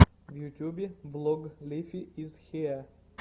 в ютьюбе влог лифи из хиэ